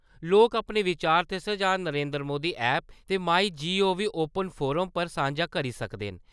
लोक अपने विचार ते सुझाऽ नरेन्द्र मोदी ऐप्प ते माई गोव ओपन फोरम पर सांझे करी सकदे न।